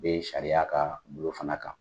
U bee sariya ka bolo fana kan.